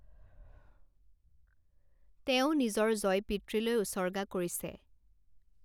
তেওঁ নিজৰ জয় পিতৃলৈ উচৰ্গা কৰিছে।